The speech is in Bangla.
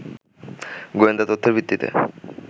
গোয়েন্দা তথ্যের ভিত্তিতে